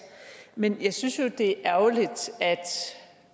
men jeg synes jo det er ærgerligt at